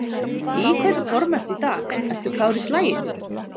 Í hvernig formi ertu í dag, ertu klár í slaginn?